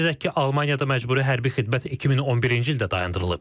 Qeyd edək ki, Almaniyada məcburi hərbi xidmət 2011-ci ildə dayandırılıb.